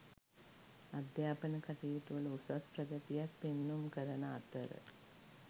අධ්‍යාපන කටයුතුවල උසස් ප්‍රගතියක් පෙන්නුම් කරන අතර